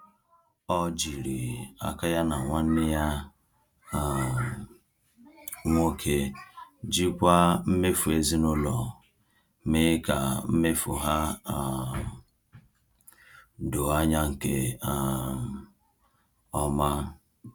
Ọ jiri aka ya na nwanne ya um nwoke jikwaa mmefu ezinụlọ, mee ka mmefu ha um doo anya nke um ọma.